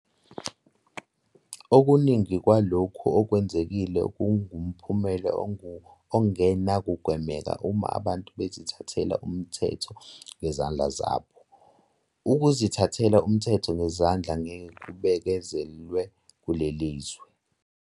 Okuningi kwalokhu okwenzekile kungumphumela ongenakugwemeka uma abantu bezithathela umthetho ngezandla zabo. Ukuzithathela umthetho ngezandla ngeke kubekezelelwe kuleli lizwe.